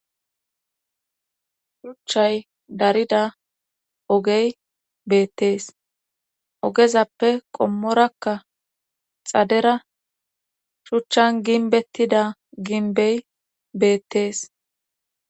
shuchchay darida ogey beettees ogezappe qommorakka xadera shuchchan ginbettida ginbey beettees